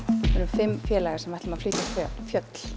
fimm félagar sem ætlum að flytja fjöll